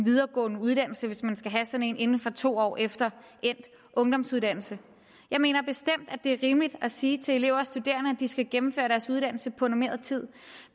videregående uddannelse hvis man skal have sådan en inden for to år efter endt ungdomsuddannelse jeg mener bestemt det er rimeligt at sige til elever og studerende at de skal gennemføre deres uddannelse på normeret tid